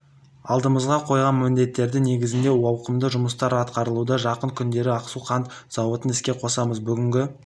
алдымызға қойған міндеттері негізінде ауқымды жұмыстар атқарылуда жақын күндері ақсу қант зауытын іске қосамыз бүгінгі